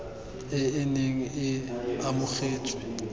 e e neng e amogetswe